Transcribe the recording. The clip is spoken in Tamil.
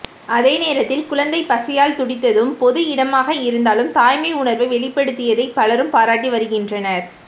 அதே நேரத்தில் குழந்தை பசியால் துடித்ததும் பொது இடமாக இருந்தாலும் தாய்மை உணர்வை வெளிப்படுத்தியதை பலரும் பாராட்டி வருகினறனர்